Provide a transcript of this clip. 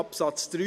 Absatz 3